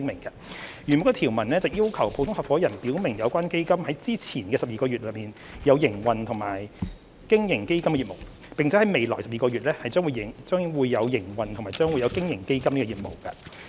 原有的條文要求普通合夥人表明有關基金在之前的12個月內，有營運或有經營基金的業務，並在未來12個月內，將會營運或將會經營基金的業務。